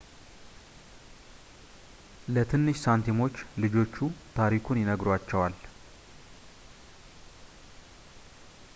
ለትንሽ ሳንቲሞች ልጆቹ ታሪኩን ይነግሯቸዋል